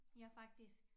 Jeg er faktisk